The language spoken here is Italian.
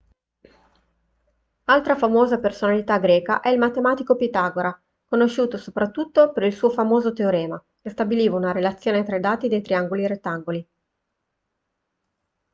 altra famosa personalità greca è il matematico pitagora conosciuto soprattutto per il suo famoso teorema che stabiliva una relazione tra i lati dei triangoli rettangoli